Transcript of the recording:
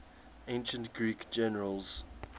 ancient greek generals